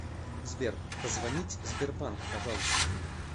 сбер позвонить сбербанк пожалуйста